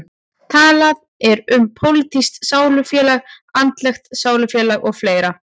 Talað er um pólitískt sálufélag, andlegt sálufélag og fleira.